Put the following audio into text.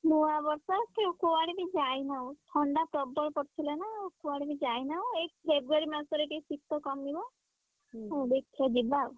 ନୂଆବର୍ଷ କେ କୁଆଡେ ବି ଯାଇନାହୁଁ। ଥଣ୍ଡା ପ୍ରବଳ ପଡି ଥିଲା ନା କୁଆଡେ ବି ଯାଇନାହୁଁ ଏ February ମାସରେ ଟିକେ ଶୀତ କମିବ। ଦେଖିଆ ଯିବା।